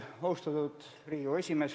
Austatud Riigikogu esimees!